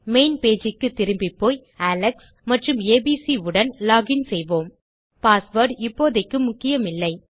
main page க்குத் திரும்பிப்போய் Alex மற்றும்abc உடன் லோகின் செய்வோம் பாஸ்வேர்ட் இப்போதைக்கு முக்கியமில்லை